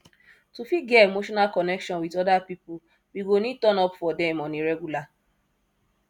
to fit get emotional connection with oda pipo we go need turn up for dem on a regular